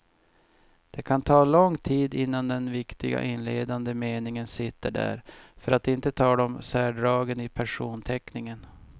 Det kan ta lång tid innan den viktiga inledande meningen sitter där, för att inte tala om särdragen i personteckningen.